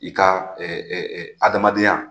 I ka adamadenya